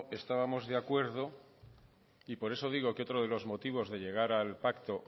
estábamos de acuerdo y por eso digo que otro de los motivos de llegar al pacto